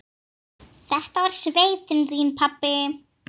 Þetta var sveitin þín, pabbi.